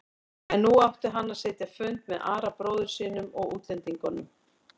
En nú átti hann að sitja fund með Ara bróður sínum og útlendingunum.